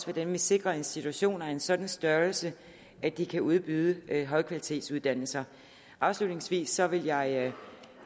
hvordan vi sikrer institutioner af en sådan størrelse at de kan udbyde højkvalitetsuddannelser afslutningsvis vil jeg